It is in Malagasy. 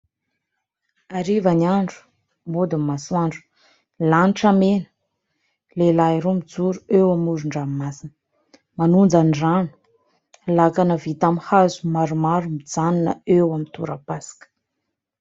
Ariva ny andro, mody ny masoandro, lanitra mena, lehilahy roa mijoro eo amoron-dranomasina. Manonja ny rano lakana vita amin'ny hazo maromaro mijanona eo amin'ny torapasika.